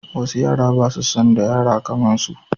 Wasu yara ba su son da yara kaman su